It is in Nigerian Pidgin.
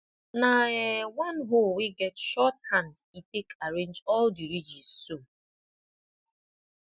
na um one hoe wey get short hand e take arrange all the ridges so